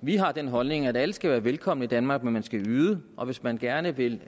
vi har den holdning at alle skal være velkomne i danmark men man skal yde og hvis man gerne vil